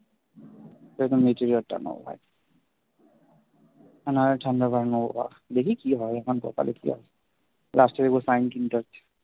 নেব ভাই আর নাহলে thunder বাইক নেব বাড়া দেখি কি হয় এখন কপালে কি আছে last এ দেখবো সাইন কিনতে হচ্ছে